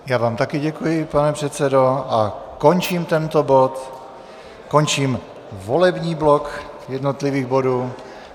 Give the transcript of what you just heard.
Já vám také děkuji, pane předsedo, a končím tento bod, končím volební blok jednotlivých bodů.